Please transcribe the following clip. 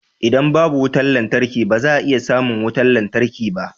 Idan babu wutar lantarki ba za a iya samun wutar lantarki ba